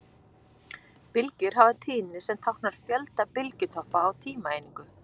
Bylgjur hafa tíðni sem táknar fjölda bylgjutoppa á tímaeiningu.